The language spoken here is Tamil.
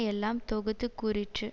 எல்லாம் தொகுத்து கூறிற்று